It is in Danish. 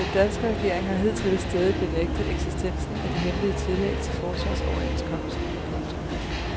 Den danske regering har hidtil stædigt benægtet eksistensen af de hemmelige tillæg til forsvarsoverenskomsten. punktum